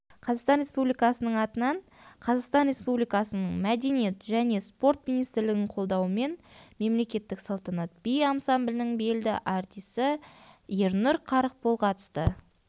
қазақстан республикасының атынан қазақстан республикасының мәдениет және спорт министрлігінің қолдауымен мемлекеттік салтанат би ансамблінің белді артисі ернұр қарықбол қатысты